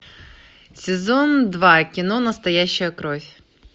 сезон два кино настоящая кровь